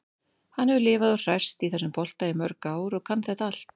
Hann hefur lifað og hrærst í þessum bolta í mörg ár og kann þetta allt.